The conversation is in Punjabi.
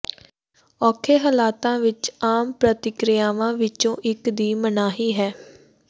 ਔਖੇ ਹਾਲਾਤਾਂ ਵਿਚ ਆਮ ਪ੍ਰਤੀਕ੍ਰਿਆਵਾਂ ਵਿਚੋਂ ਇਕ ਦੀ ਮਨਾਹੀ ਹੈ